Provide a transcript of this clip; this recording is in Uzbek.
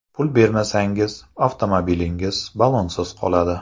Pul bermasangiz, avtomobilingiz ballonsiz qoladi.